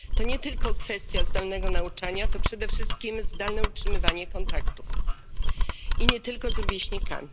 To nie tylko kwestia zdalnego nauczania, to przede wszystkim zdalne utrzymywanie kontaktów, nie tylko z rówieśnikami.